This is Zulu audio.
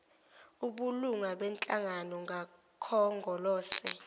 obulunga benhlangano kakhongolose